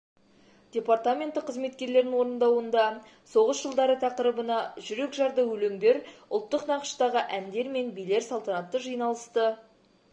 департаменті қызметкерлерінің орындауында соғыс жылдары тақырыбына жүрек жарды өлендер ұлттық нақыштағы әңдер мен билер салтанатты жиналысты